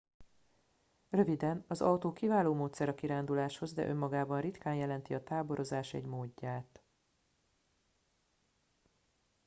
"röviden: az autó kiváló módszer a kiránduláshoz de önmagában ritkán jelenti a "táborozás" egy módját.